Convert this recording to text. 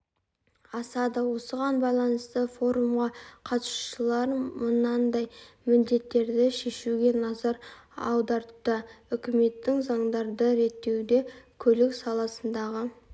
асады осыған байланысты форумға қатысушылар мынандай міндеттерді шешуге назар аудартты үкіметтің заңдарды реттеуде көлік саласындағы